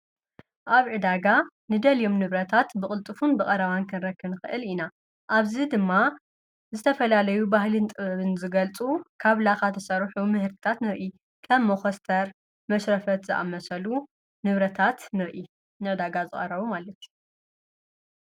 ኣብ ዕዳጋ ንደልዮም ንብረታት ብቕልጥፉን ብቐራዋን ከንረክን ኽእል ኢና ኣብዚ ድማ ዝተፈላለዩ ባህሊን ጥበብን ዘገልጡ ካብ ላኻ ተሠሩሑቡ ምህርታት ንርኢ ከብ መኸስተር መሽረፈት ዝኣመሰሉ ንብረታት ንርኢ ነዕዳጋ ዝረቡ ማለት::